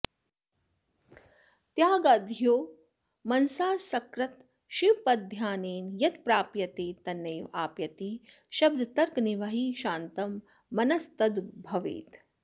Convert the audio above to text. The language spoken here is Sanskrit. त्यागाद्यो मनसा सकृत् शिवपदध्यानेन यत्प्राप्यते तन्नैवाप्यति शब्दतर्कनिवहैः शान्तं मनस्तद्भवेत्